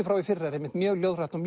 frá í fyrra er einmitt mjög ljóðrænn og